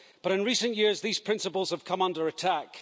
But in recent years these principles have come under attack.